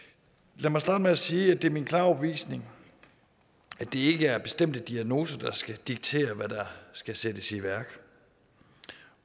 lad mig starte med at sige at det er min klare overbevisning at det ikke er bestemte diagnoser der skal diktere hvad der skal sættes i værk